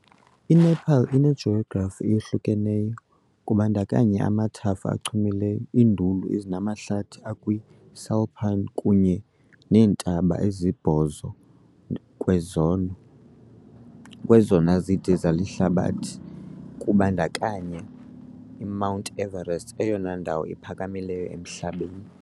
INepal inejografi eyahlukeneyo, kubandakanya amathafa achumileyo, iinduli ezinamahlathi akwi-subalpine, kunye neentaba ezisibhozo kwezona kwezona zide zehlabathi, kubandakanya iMount Everest, eyona ndawo iphakamileyo emhlabeni.